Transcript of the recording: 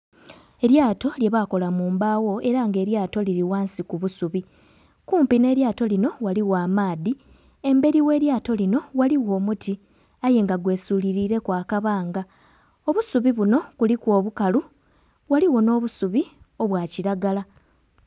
Elyato lyebaakola mu embaawo era nga elyato liri ghansi ku busubi. Kumpi nh'elyato linho ghaligho amaadhi, embeli gh'elyato linho ghaligho omuti aye nga gwesulilireku akabanga. Obusubi buno kuliku obukalu ghaligho nh'obusubi obwa kilagala.